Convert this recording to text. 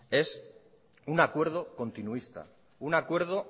es un acuerdo continuista un acuerdo